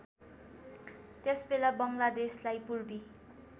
त्यसबेला बङ्गलादेशलाई पूर्वी